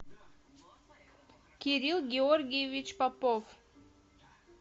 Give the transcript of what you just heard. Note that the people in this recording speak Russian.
кирилл георгиевич попов